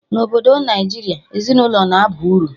Na Obodo Naijiria, ezinaụlọ na aba uru